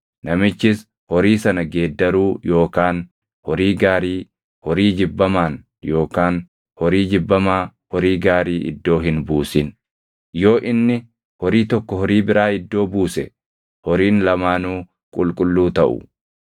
Namichis horii sana geeddaruu yookaan horii gaarii horii jibbamaan yookaan horii jibbamaa horii gaarii iddoo hin buusin; yoo inni horii tokko horii biraa iddoo buuse horiin lamaanuu qulqulluu taʼu.